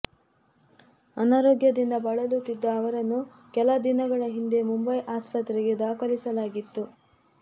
ಅನಾರೋಗ್ಯದಿಂದ ಬಳಲುತ್ತಿದ್ದ ಅವರನ್ನು ಕೆಲ ದಿನಗಳ ಹಿಂದೆ ಮುಂಬೈ ಆಸ್ಪತ್ರೆಗೆ ದಾಖಲಿಸಲಾಗಿತ್ತು